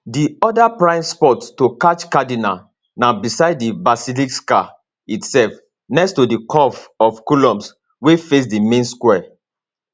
di oda prime spot to catch cardinal na beside di basilica itself next to di curve of columns wey face di main square